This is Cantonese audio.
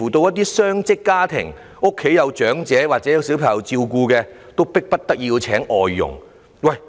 一些雙職家庭，家裏有長者或小孩子需要照顧，聘請外傭是迫不得已之舉。